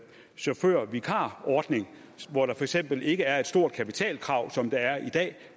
chaufførvikarordning hvor der for eksempel ikke er et stort kapitalkrav som der er i dag